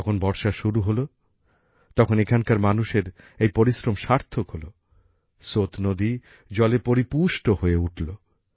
যখন বর্ষা শুরু হল তখন এখানকার মানুষের এই পরিশ্রম সার্থক হলো সোত নদী জলে পরিপুষ্ট হয়ে উঠলো